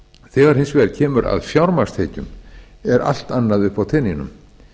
þegar hins vegar kemur að fjármagnstekjum er allt annað uppi á teningnum